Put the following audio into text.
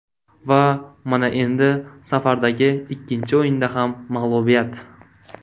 Va mana endi safardagi ikkinchi o‘yinda ham mag‘lubiyat.